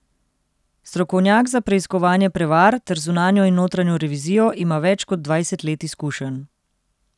Strokovnjak za preiskovanje prevar ter zunanjo in notranjo revizijo ima več kot dvajset let izkušenj.